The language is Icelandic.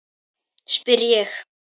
spyr ég.